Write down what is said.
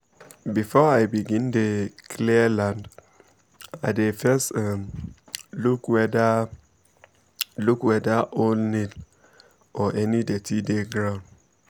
before i begin dey um clear land i dey first um look whether um look whether old nail um or any dirty dey ground